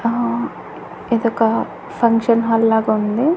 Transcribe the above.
అహ్ ఇదొక function hall లాగా ఉంది.